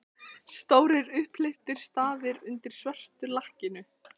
Stórir, upphleyptir stafir undir svörtu lakkinu!